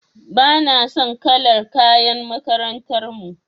Bana son kalar kayan makarantar mu.